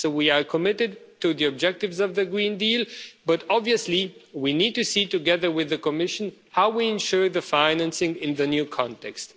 So we are committed to the objectives of the Green Deal, but obviously we need to see, together with the Commission, how we ensure the financing in the new context.